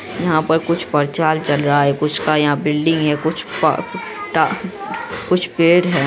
यहाँ पर कुछ प्रचार चल रहा है कुछ का यहाँ बिल्डिंग है कुछ पा टा कुछ पेड़ है।